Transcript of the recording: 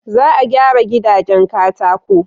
Za a gyara gidajen katako.